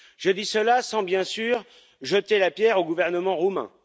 Je dis cela sans, bien sûr, jeter la pierre au gouvernement roumain.